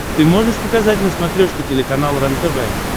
ты можешь показать на смотрешке телеканал рентв